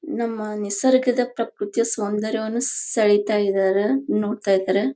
ನಮ್ಮ ನಿಸರ್ಗದ ಪೃಕೃತಿ ಸೌಂದರ್ಯವನ್ನು ಸೆಳೆತಾ ಇದ್ದಾರೆ ನೋಡ್ತಾ ಇದ್ದಾರೆ.